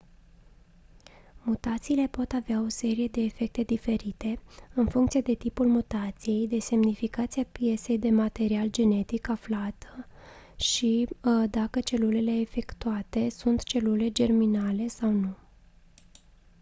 mutațiile pot avea o serie de efecte diferite în funcție de tipul mutației de semnificația piesei de material genetic afectat și dacă celulele afectate sunt celule germinale sau nu